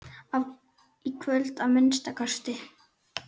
Í kvöld, að minnsta kosti.